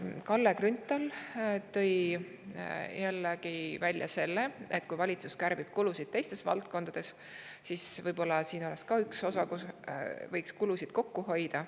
Kalle Grünthal, et kui valitsus kärbib kulusid teistes valdkondades, siis võib-olla võiks ka see olla üks koht, kust kulusid kokku hoida.